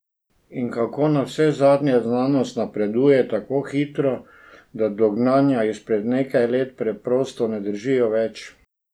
In ko navsezadnje znanost napreduje tako hitro, da dognanja izpred nekaj let preprosto ne držijo več?